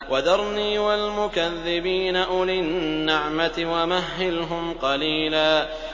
وَذَرْنِي وَالْمُكَذِّبِينَ أُولِي النَّعْمَةِ وَمَهِّلْهُمْ قَلِيلًا